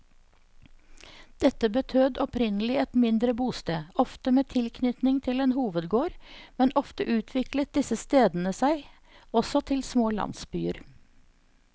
Dette betød opprinnelig et mindre bosted, ofte med tilknytning til en hovedgård, men ofte utviklet disse stedene seg også til små landsbyer.